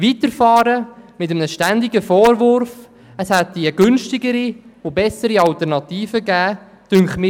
Es erscheint mir schwierig, weiterzufahren, solange der Vorwurf im Raum steht, dass es günstigere und bessere Alternativen gegeben hätte.